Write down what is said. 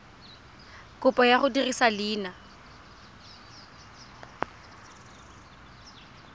kopo ya go dirisa leina